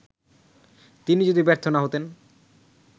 তিনি যদি ব্যর্থ না হতেন